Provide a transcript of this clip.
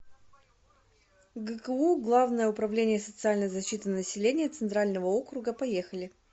гку главное управление социальной защиты населения центрального округа поехали